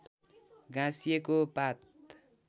गाँसिएको पात